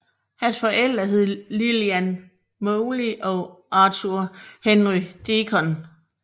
Hans forældre hed Lillian Molly og Arthur Henry Deacon